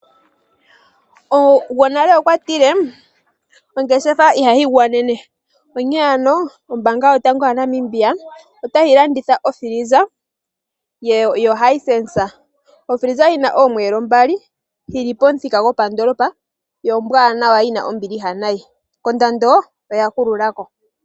Gonale okwa tile "ongeshefa iha yi gwanene," onkene ano ombanga yotango yopashigwana otayi landitha okila yokutalaleka yoHisense ndjoka yi na omiyelo mbali yili pamuthika gopandoolopa yo ombwanawa yi na ombiliha nayi, kondando oya kululako.